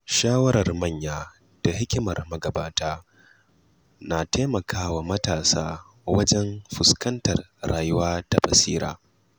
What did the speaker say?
Shawarar manya da hikimar magabata na taimakawa matasa wajen fuskantar rayuwa da basira.